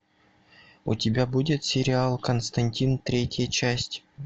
у тебя будет сериал константин третья часть